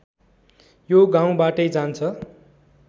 यो गाउँबाटै जान्छ